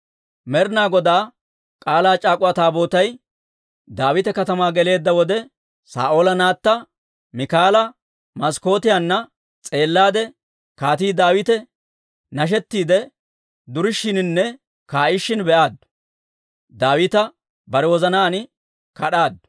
Med'inaa Godaa K'aalaa c'aak'uwa Taabootay Daawita Katamaa geleedda wode, Saa'oola naatta Miikaala maskkootiyaanna s'eellaade, Kaatii Daawite nashettiidde durishiininne kaa'ishin be'aaddu; Daawita bare wozanaan kad'aaddu.